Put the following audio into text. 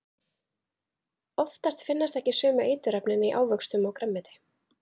Oftast finnast ekki sömu eiturefnin í ávöxtum og grænmeti.